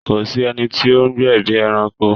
Kò sí ẹni tó ń gbẹ̀bí ẹranko